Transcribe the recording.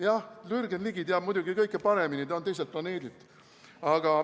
Jah, Jürgen Ligi teab muidugi kõike paremini, ta on teiselt planeedilt.